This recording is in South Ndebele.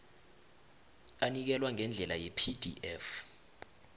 anikelwa ngendlela yepdf